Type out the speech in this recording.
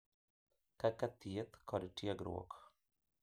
Kaka thieth kod tiegruok.